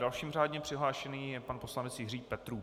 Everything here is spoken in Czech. Dalším řádně přihlášeným je pan poslanec Jiří Petrů.